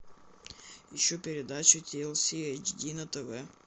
ищу передачу ти эл си эйч ди на тв